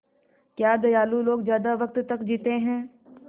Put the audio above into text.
क्या दयालु लोग ज़्यादा वक़्त तक जीते हैं